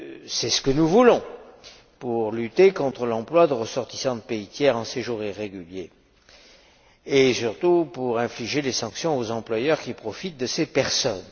C'est ce que nous voulons pour lutter contre l'emploi de ressortissants de pays tiers en séjour irrégulier et surtout pour infliger des sanctions aux employeurs qui profitent de ces personnes.